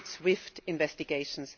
we need swift investigations.